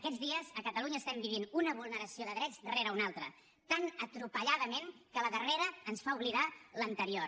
aquests dies a catalunya estem vivint una vulneració de drets rere una altra tan atropelladament que la darrera ens fa oblidar l’anterior